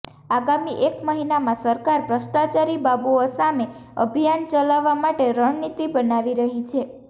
આગામી એક મહિનામાં સરકાર ભ્રષ્ટાચારી બાબુઓ સામે અભિયાન ચલાવવા માટે રણનીતિ બનાવી રહી છે